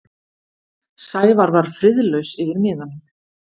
Sævar var friðlaus yfir miðanum.